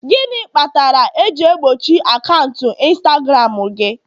gịnị kpatara eji egbochi akaụntụ Instagram gị?